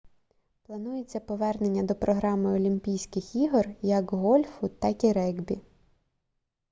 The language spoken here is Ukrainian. планується повернення до програми олімпійських ігор як гольфу так і регбі